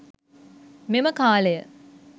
මෙම කාලය